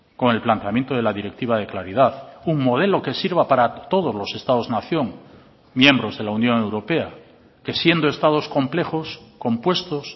con el planteamiento de la directiva de claridad un modelo que sirva para todos los estados nación miembros de la unión europea que siendo estados complejos compuestos